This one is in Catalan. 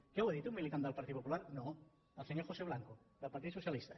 qui ho ha dit un militant del partit popular no el senyor josé blanco del partit socialista